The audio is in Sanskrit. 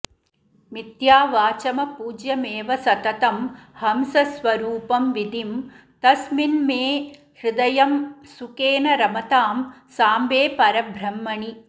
मिथ्यावाचमपूज्यमेव सततं हंसस्वरूपं विधिं तस्मिन्मे हृदयं सुखेन रमतां साम्बे परब्रह्मणि